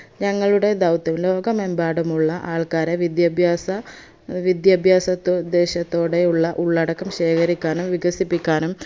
ഞങ്ങളുടെ ദൗത്യം ലോകമെമ്പാടുമുള്ള ആൾക്കാരെ വിദ്യാഭ്യാസ വിദ്യാഭ്യാസത്തോ ദേശത്തോടെ ഉള്ള ഉള്ളടക്കം ശേഖരിക്കാനും വികസിപ്പിക്കാനും